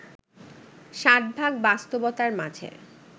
ষাটভাগ বাস্তবতার মাঝে